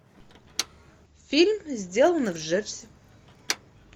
фильм сделано в джерси